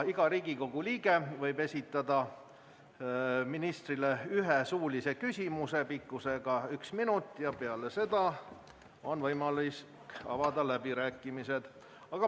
Iga Riigikogu liige võib esitada ministrile ühe suulise küsimuse pikkusega üks minut ja peale seda on võimalik avada läbirääkimised.